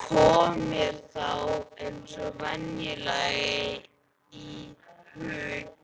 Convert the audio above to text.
Kom mér þá eins og venjulega í hug